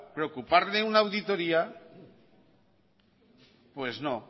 preocuparle una auditoría pues no